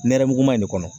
Nɛrɛmuguman de kɔnɔ